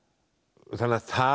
þannig að það